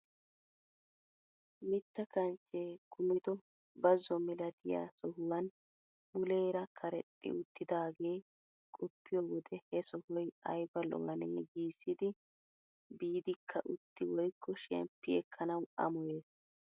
Mitta kanchchee kumido bazo milatiyaa sohuwan muleera karexxi uttidagee qoppiyoo wode he sohoy ayba lo"anee giissidi biidika utti woykko shemppi ekkanawu amoyees!